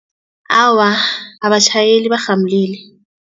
Awa, abatjhayeli barhamulile.